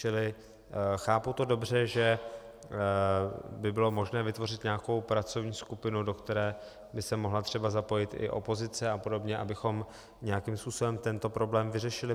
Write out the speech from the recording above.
Čili chápu to dobře, že by bylo možné vytvořit nějakou pracovní skupinu, do které by se mohla třeba zapojit i opozice a podobně, abychom nějakým způsobem tento problém vyřešili?